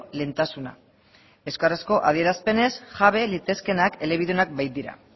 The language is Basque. lehentasuna euskarazko adierazpenez jabe litezkeenak elebidunak baitira